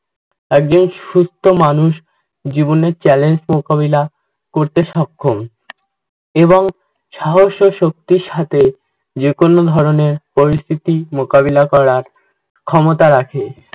একজন সুস্থ মানুষ জীবনের challenge মোকাবিলা করতে সক্ষম, এবং সাহস ও শক্তির সাথে যেকোনো ধরনের পরিস্থিতি মোকাবিলা করার ক্ষমতা রাখে।